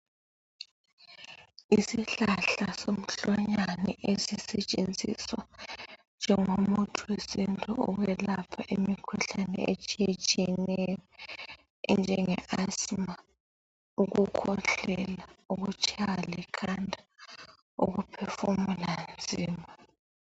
Isihlahla somhlwanyane esisetshenziswa njengomuthi wesiNtu ukwelapha imikhuhlane etshiyetshiyeneyo enjengeAsima, ukukhwehlela ukutshaywa likhanda ukuphefumula nzima.